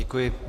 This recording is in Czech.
Děkuji.